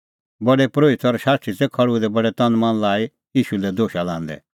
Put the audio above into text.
प्रधान परोहित और शास्त्री तै खल़्हुऐ दै बडै तन मन लाई ईशू लै दोशा लांदै